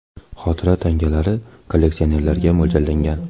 Xotira tangalari kolleksionerlarga mo‘ljallangan.